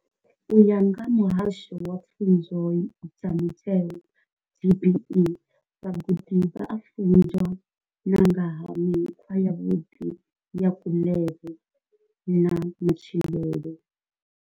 U ya nga vha muhasho wa pfunzo dza mutheo DBE, vhagudi vha a funzwa na nga ha mikhwa yavhuḓi ya kuḽele na matshilele.